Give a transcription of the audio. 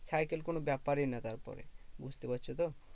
Cycle কোনো ব্যাপারই নয় তারপরে, বুঝতে পারছো তো?